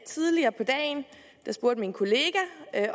tidligere på dagen spurgte min kollega